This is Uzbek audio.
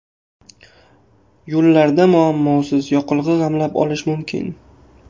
Yo‘llarda muammosiz yoqilg‘i g‘amlab olish mumkin.